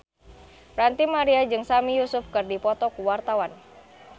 Ranty Maria jeung Sami Yusuf keur dipoto ku wartawan